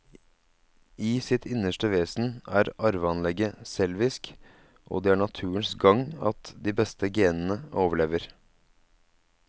I sitt innerste vesen er arveanlegget selvisk, og det er naturens gang at de beste genene overlever.